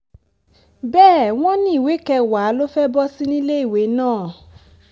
bẹ́ẹ̀ wọ́n ni ìwé kẹwàá ló fẹ́ẹ́ bọ́ sí níléèwé náà